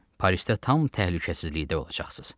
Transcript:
Parisdə tam təhlükəsizlikdə olacaqsınız.